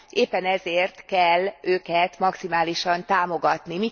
Éppen ezért kell őket maximálisan támogatni.